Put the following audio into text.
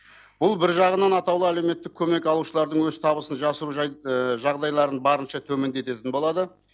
бұл бір жағынан атаулы әлеуметтік көмек алушылардың өз табысын жасыру жағдайларын барынша төмендететін болады